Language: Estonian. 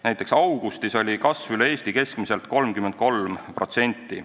Näiteks augustis oli kasv üle Eesti keskmiselt 33%.